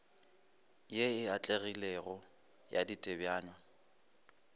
ye e atlegilego ya ditebanywa